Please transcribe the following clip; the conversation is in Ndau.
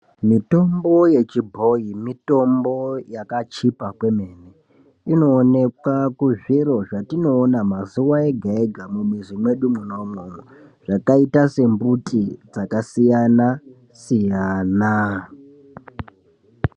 Mitombo yechibhoyi mitombo yakachipa kwemene, inoonekwa kuzviro zvatinoona mazuwa ega ega mumizi mwedu mwona imwomwo zvakaita sembuti dzakasiyana siyana.